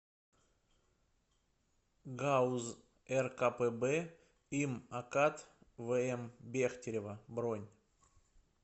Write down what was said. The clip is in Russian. гауз ркпб им акад вм бехтерева бронь